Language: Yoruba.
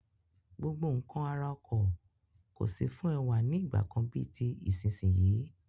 Gbogbo nkan ara ọkọ̀ kò sí fún ẹwà ní ìgbàkan bíi ti ìsinsìnyí.